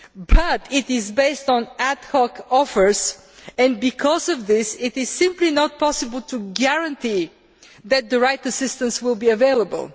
But it is based on ad hoc offers, and because of this, it is simply not possible to guarantee that the right assistance will be available.